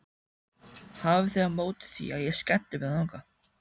Hafið þið á móti því að ég skelli mér þangað?